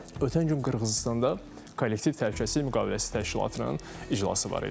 Ötən gün Qırğızıstanda Kollektiv Təhlükəsizlik Müqaviləsi Təşkilatının iclası var idi.